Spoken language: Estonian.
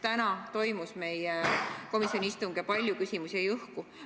Täna toimus meie komisjoni istung ja palju küsimusi jäi õhku.